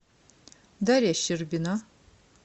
дарья щербина